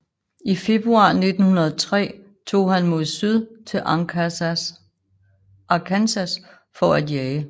I februar 1903 tog han mod syd til Arkansas for at jage